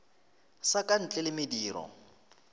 sa ka ntle le mediro